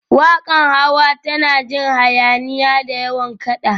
Waƙar Hawa tana jin hayaniya, da yawan kaɗa